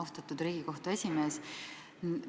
Austatud Riigikohtu esimees!